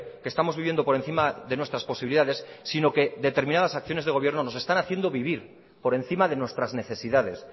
que estamos viviendo por encima de nuestras posibilidades sino que determinadas acciones de gobierno nos están haciendo vivir por encima de nuestras necesidades